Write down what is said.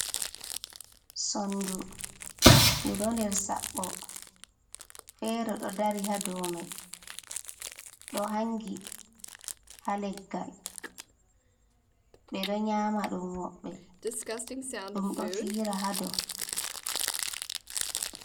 Sondu du ɗo nder Saɓɓo fere ɗo dari ha domai ɗo hangi ha leggal ɓe ɗo nyama ɗum woɓɓe ɗum ɗo fira hadow.